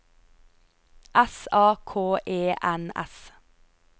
S A K E N S